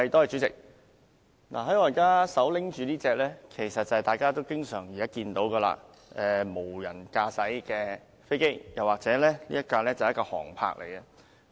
主席，我現在手持的是大家經常看到的無人駕駛飛機或所謂的"航拍機"。